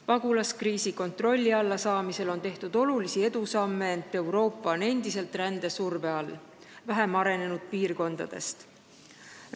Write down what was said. Pagulaskriisi kontrolli alla saamiseks on tehtud olulisi edusamme, ent Euroopa on endiselt vähem arenenud piirkondadest tuleva rände surve all.